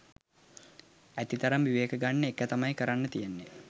ඇති තරම් විවේක ගන්න එක තමයි කරන්න තියෙන්නෙ